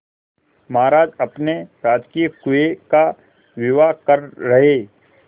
महाराज अपने राजकीय कुएं का विवाह कर रहे